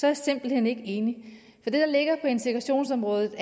jeg simpelt hen ikke enig det der ligger på integrationsområdet